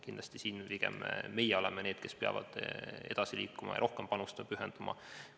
Kindlasti oleme siin pigem meie need, kes peavad edasi liikuma ja rohkem panustama ja pühenduma.